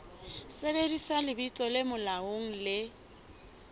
sebedisa lebitso le molaong le